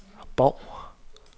Bov